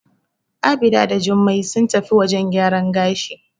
Abida and Jummai sun tafi wajen gyaran gashi.